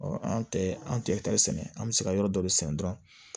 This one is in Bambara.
an tɛ an tɛ kari sɛnɛ an bɛ se ka yɔrɔ dɔ de sɛnɛ dɔrɔn